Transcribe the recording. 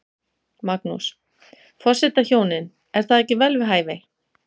Magnús: Forsetahjónin, er það ekki vel við hæfi?